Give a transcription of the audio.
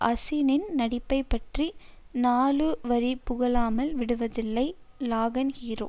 அசினின் நடிப்பைப் பற்றி நாலுவரி புகழாமல் விடுவதில்லை லகான் ஹீரோ